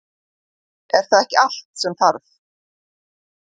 Er það ekki allt sem þarf?